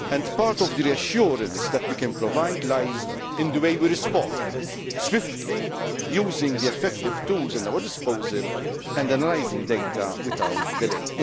Part of the reassurance that we can provide lies in the way we respond swiftly using the effective tools at our disposal, and analysing data without delay.